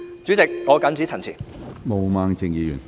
主席，我謹此陳辭。